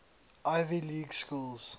ivy league schools